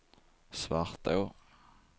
Svartå